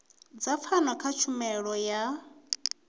dza pfano kha tshumelo yo